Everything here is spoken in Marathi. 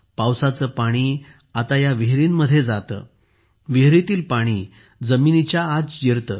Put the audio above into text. पावसाचे पाणी आता या विहिरींमध्ये पडते विहिरींतील पाणी जमिनीच्या आत शिरते